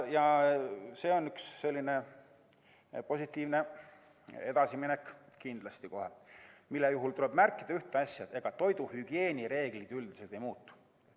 See on kindlasti positiivne edasiminek, mille puhul tuleb märkida üht asja: ega toiduhügieenireeglid üldiselt ei muutu.